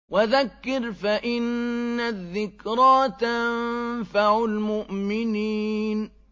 وَذَكِّرْ فَإِنَّ الذِّكْرَىٰ تَنفَعُ الْمُؤْمِنِينَ